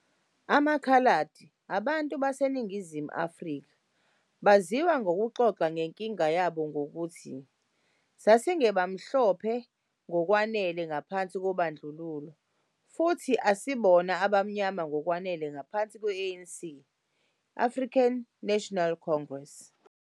"AmaKhaladi" abantu baseNingizimu Afrika baziwa ngokuxoxa ngenkinga yabo ngokuthi, "sasingemhlophe ngokwanele ngaphansi kobandlululo, futhi asibona abamnyama ngokwanele ngaphansi kwe-ANC, African National Congress".